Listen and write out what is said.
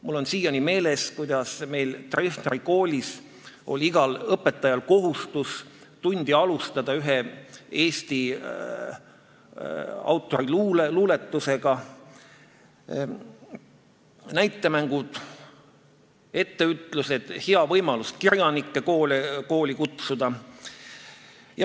Mul on siiani meeles, kuidas Treffneri koolis oli igal õpetajal kohustus tundi alustada ühe Eesti autori luuletusega, toimusid näitemängud, etteütlused, see oli hea võimalus kirjanikke kooli kutsuda.